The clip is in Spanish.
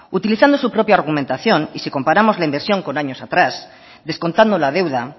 utilizando su propia argumentación y si comparamos la inversión con años atrás descontando la deuda